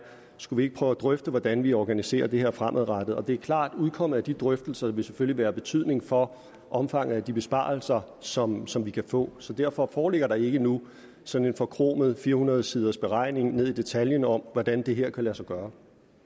skulle prøve at drøfte hvordan vi organiserer det her fremadrettet og det er klart udkommet af de drøftelser vil selvfølgelig være af betydning for omfanget af de besparelser som som vi kan få så derfor foreligger der ikke nu sådan en forkromet fire hundrede siders beregning ned i detaljen om hvordan det her kan lade sig gøre